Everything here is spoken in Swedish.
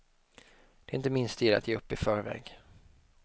Det är inte min stil att ge upp i förväg.